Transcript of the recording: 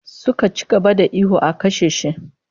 Suka ci gaba da ihu 'a kashe shi!'